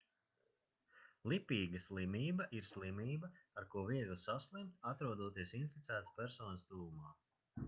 lipīga slimība ir slimība ar ko viegli saslimt atrodoties inficētas personas tuvumā